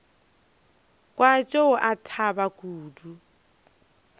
kwa tšeo a thaba kudu